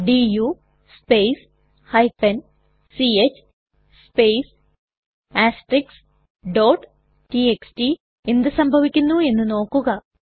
do space ch space txt എന്ത് സംഭവിക്കുന്നു എന്ന് നോക്കുക